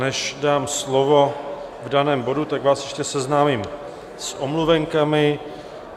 Než dám slovo k danému bodu, tak vás ještě seznámím s omluvenkami.